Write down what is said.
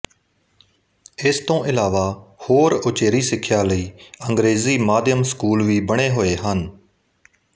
ਇਸ ਤੋਂ ਇਲਾਵਾ ਹੋਰ ਉਚੇਰੀ ਸਿੱਖਿਆ ਲਈ ਅੰਗਰੇਜ਼ੀ ਮਾਧਿਅਮ ਸਕੂਲ ਵੀ ਬਣੇ ਹੋਏ ਹਨ